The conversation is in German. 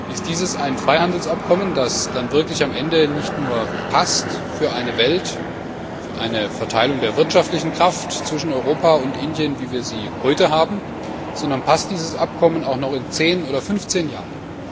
Passt dieses Freihandelsabkommen am Ende dann wirklich nicht nur für eine Welt, für eine Verteilung der wirtschaftlichen Kraft zwischen Europa und Indien, wie wir sie heute kennen, sondern passt dieses Abkommen auch noch in zehn oder 15 Jahren?